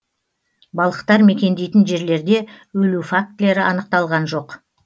балықтар мекендейтін жерлерде өлу фактілері анықталған жоқ